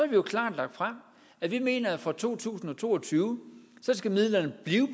vi jo klart lagt frem at vi mener at fra to tusind og to og tyve skal midlerne blive